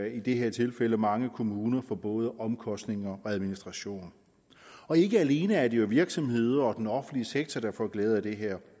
i det her tilfælde mange kommuner for både omkostninger og administration og ikke alene er det virksomheder og den offentlige sektor der får glæde af det her